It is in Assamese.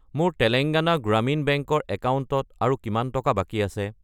মোৰ তেলেঙ্গানা গ্ৰামীণ বেংক ৰ একাউণ্টত আৰু কিমান টকা বাকী আছে?